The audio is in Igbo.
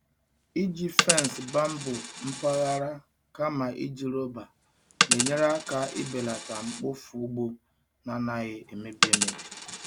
Iji fence bamboo mpaghara kama iji rọba na-enyere aka ibelata mkpofu ugbo na-anaghị emebi emebi.